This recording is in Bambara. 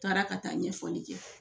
U taara ka taa ɲɛfɔli kɛ